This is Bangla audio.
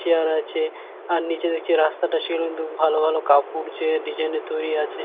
চেয়ার আছে। আর নিজে দেখছি রাস্তাটা সেরকম দু ভালো ভালো কাপড় যে ডিজাইন - এর তৈরী আছে।